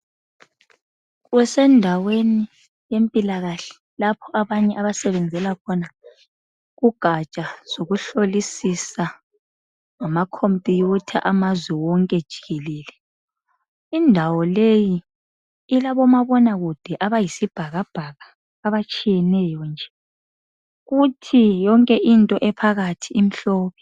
Kusendaweni yempilakahle lapho abanye abasebenzela khona kugaja zokuhlolisiswa ngamacomputha amazwe wonke jikelele. Indawo leyi ilabomabona kude abayisibhakabhaka abatshiyeneyo nje. Kuthi yonke into ephakathi imhlophe.